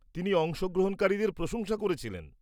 তিনি অংশগ্রহণকারীদের প্রশংসা করেছিলেন।